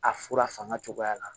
A fura fanga cogoya la